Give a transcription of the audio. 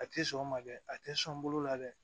A tɛ sɔn o ma dɛ a tɛ sɔn bolo la dɛ